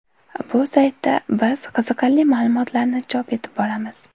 Bu saytda biz qiziqarli ma’lumotlarni chop etib boramiz.